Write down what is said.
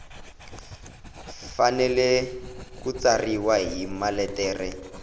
fanele ku tsariwa hi maletere